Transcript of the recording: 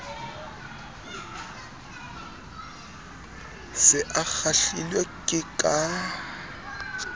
se a kgahlilwe ke ka